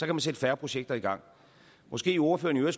man sætte færre projekter i gang måske ordføreren i